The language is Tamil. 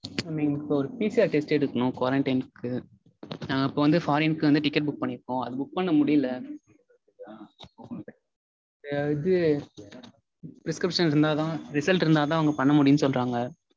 இப்போ ஒரு PCR test எடுக்கனும் quarantine க்கு. நா இப்போ வந்து foreign க்கு வந்து ticket book பண்ணிருக்கோம். அது book பண்ண முடியல. இது prescription இருந்தாதா result இருந்தாதா அவங்க பண்ண முடியும்னு சொல்றாங்க.